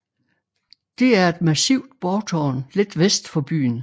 Det er et massivt borgtårn lidt vest for byen